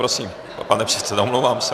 Prosím, pane předsedo, omlouvám se.